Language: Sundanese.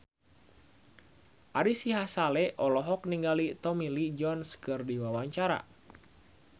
Ari Sihasale olohok ningali Tommy Lee Jones keur diwawancara